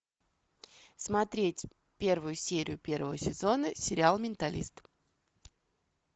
смотреть первую серию первого сезона сериал менталист